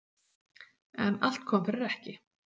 En allt kom fyrir ekki.